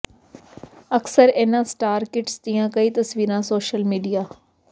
ਅਕਸਰ ਇਨ੍ਹਾਂ star kids ਦੀਆ ਕਈ ਤਸਵੀਰਾਂ ਸੋਸ਼ਲ ਮੀਡੀਆ